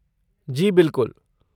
जी बिलकुल।